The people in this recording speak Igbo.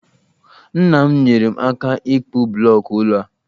Nna m nyeere m aka ịkpụ blọọkụ ụlọ a